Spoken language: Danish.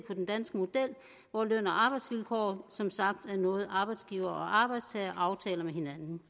med den danske model hvor løn og arbejdsvilkår som sagt er noget arbejdsgiver og arbejdstager aftaler med hinanden